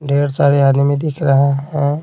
ढेर सारे आदमी दिख रहा है।